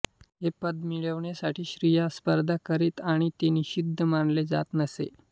हे पद मिळविण्यासाठी स्त्रिया स्पर्धा करीत आणि ते निषिद्ध मानले जात नसे